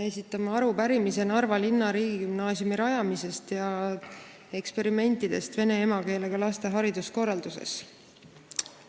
Esitame arupärimise Narva linna riigigümnaasiumi rajamise ja eksperimentide kohta vene emakeelega laste hariduskorralduses.